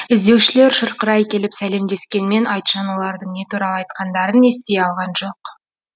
іздеушілер шұрқырай келіп сәлемдескенмен айтжан олардың не туралы айтқандарын ести алған жоқ